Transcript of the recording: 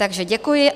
Takže děkuji.